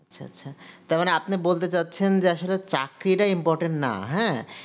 আচ্ছা আচ্ছা তারমানে আপনি বলতে চাইছেন যে আসলে চাকরিটা importain না হ্যা